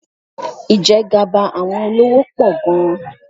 Ìjẹgàba àwọn olówó pọ̀ gan-an.